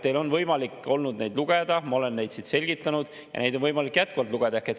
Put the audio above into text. Teil on olnud võimalik neid lugeda, ma olen neid siin selgitanud ja neid on võimalik jätkuvalt lugeda.